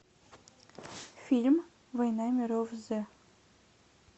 фильм война миров з